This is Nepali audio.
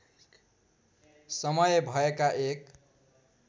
समय भएका एक